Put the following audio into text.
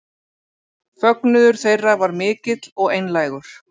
Fögnuður þeirra var mikill og einlægur